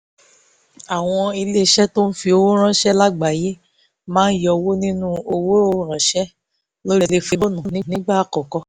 àwọn iléeṣẹ́ tó ń fi owó ránṣẹ́ lágbàáyé máa yọwọ́ nínú owó ránṣẹ́ lórí tẹlifóònù nígbà àkọ́kọ́